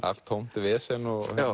allt tómt vesen